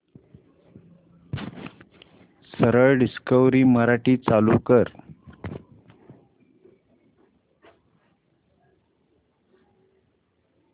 सरळ डिस्कवरी मराठी चालू कर